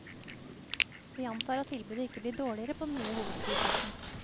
Vi antar at tilbudet ikke blir dårligere på den nye hovedflyplassen.